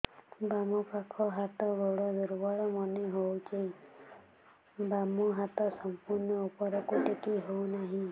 ବାମ ପାଖ ହାତ ଗୋଡ ଦୁର୍ବଳ ମନେ ହଉଛି ବାମ ହାତ ସମ୍ପୂର୍ଣ ଉପରକୁ ଟେକି ହଉ ନାହିଁ